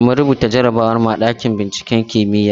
Mun rubuta jarrabawar mu a ɗakin binciken kimiyya.